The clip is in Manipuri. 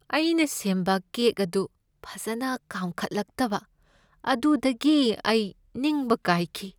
ꯑꯩꯅ ꯁꯦꯝꯕ ꯀꯦꯛ ꯑꯗꯨ ꯐꯖꯅ ꯀꯥꯝꯈꯠꯂꯛꯇꯕ ꯑꯗꯨꯗꯒꯤ ꯑꯩ ꯅꯤꯡꯕ ꯀꯥꯏꯈꯤ ꯫